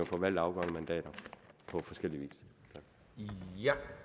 forvalte afgørende mandater på forskellig vis